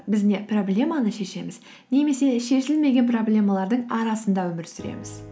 біз не проблеманы шешеміз немесе шешілмеген проблемалардың арасында өмір сүреміз